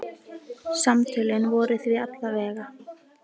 Samtölin voru því alla vega.